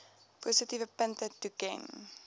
positiewe punte toeken